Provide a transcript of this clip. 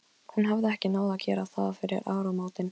Himri, hver er dagsetningin í dag?